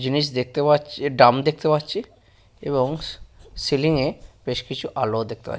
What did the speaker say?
জিনিস দেখতে পাচ্ছি ডাম দেখতে পাচ্ছি এবং সিলিং -এ বেশ কিছু আলোও দেখতে পা--